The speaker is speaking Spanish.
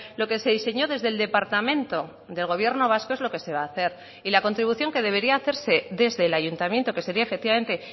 lo que se diseñó desde el departamento del gobierno vasco es lo que se va a hacer y la contribución que debería hacerse desde el ayuntamiento que sería efectivamente